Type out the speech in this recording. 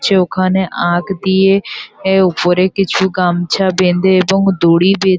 ছে ওখানে আগ দিয়ে এ ওপরে কিছু গামছা বেঁধে এবং দড়ি বেঁ--